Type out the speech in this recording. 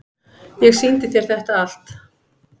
Ég sýndi þér þetta allt.